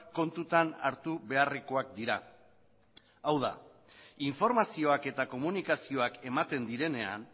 kontutan hartu beharrekoak dira hau da informazioak eta komunikazioak ematen direnean